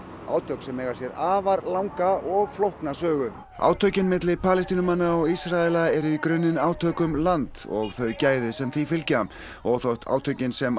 átök sem eiga sér afar langa og flókna sögu átökin milli Palestínumanna og Ísraela eru í grunninn átök um land og þau gæði sem því fylgja og þótt átökin sem